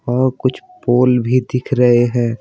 और कुछ पोल भी दिख रहे हैं।